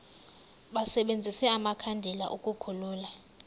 basebenzise amakhandlela ukukhulula